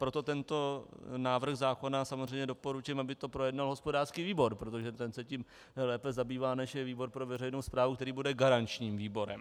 Proto tento návrh zákona samozřejmě doporučím, aby to projednal hospodářský výbor, protože ten se tím lépe zabývá, než je výbor pro veřejnou správu, který bude garančním výborem.